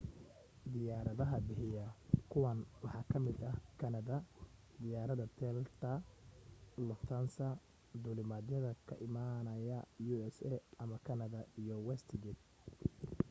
diyaaradaha bixiya kuwan waxaa kamida ta kanada, diyaarada delta lufthansa duulimaadyada ka imanaya u.s ama kanada iyo westjet